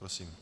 Prosím.